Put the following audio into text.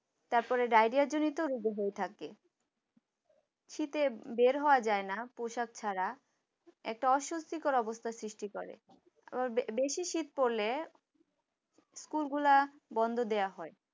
তারপরে ডায়রিয়া জনিত রোগ হয়ে থাকে শীতে বের হওয়া যায় না পোশাক ছাড়া একটা অস্বস্তিকর অবস্থার সৃষ্টি করে আবার বে বেশি শীত পড়লে স্কুল গোলা বন্ধ দেওয়া হয়।